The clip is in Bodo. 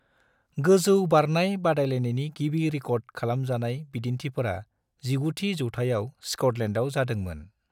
गोजौ बारनाय बादायलायनायनि गिबि रिकर्ड खालामजानाय बिदिन्थिफोरा 19 थि जौथायाव स्कटलेण्डआव जादोंमोन।